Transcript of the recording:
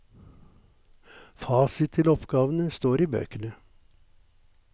Fasit til oppgavene står i bøkene.